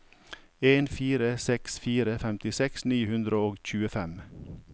en fire seks fire femtiseks ni hundre og tjuefem